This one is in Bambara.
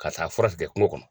Ka taa fura tigɛ kungo kɔnɔ.